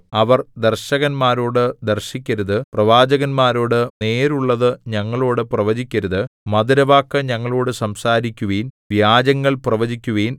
അവർ ദർശകന്മാരോട് ദർശിക്കരുത് പ്രവാചകന്മാരോട് നേരുള്ളതു ഞങ്ങളോടു പ്രവചിക്കരുത് മധുരവാക്കു ഞങ്ങളോടു സംസാരിക്കുവിൻ വ്യാജങ്ങൾ പ്രവചിക്കുവിൻ